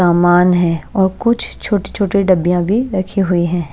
सामान है और कुछ छोटी-छोटी डब्बियां भी रखी हुई हैं।